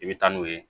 I bɛ taa n'u ye